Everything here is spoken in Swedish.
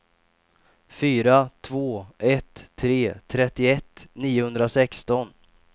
fyra två ett tre trettioett niohundrasexton